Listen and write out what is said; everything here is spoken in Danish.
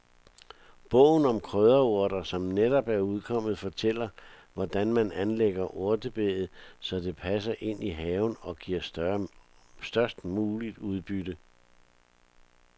Bogen om krydderurter, som netop er udkommet, fortæller hvordan man anlægger urtebedet, så det passer ind i haven og giver størst muligt udbytte.